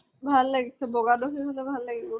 ভাল লাগিছে, বগা টো সেই হলে ভাল লাগিব।